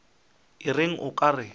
o reng o ka re